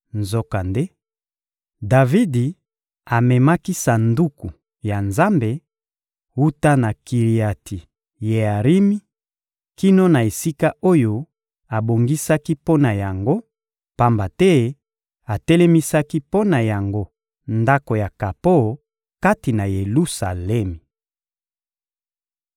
Nzokande, Davidi amemaki Sanduku ya Nzambe, wuta na Kiriati-Yearimi kino na esika oyo abongisaki mpo na yango, pamba te atelemisaki mpo na yango Ndako ya kapo kati na Yelusalemi.